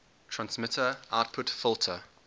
transmitter output filter